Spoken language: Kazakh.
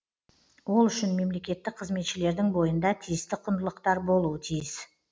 ол үшін мемлекеттік қызметшілердің бойында тиісті құндылықтар болуы тиіс